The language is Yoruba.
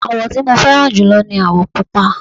àwọ̀ tí mo fẹ́ràn jùlọ ní àwọ̀ pupa